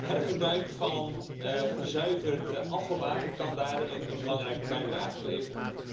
Hergebruik van gezuiverd afvalwater kan daartoe een belangrijke bijdrage leveren.